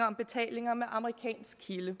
om betalinger med amerikansk kilde